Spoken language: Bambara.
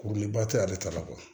Kuruliba tɛ ale ta la kuwa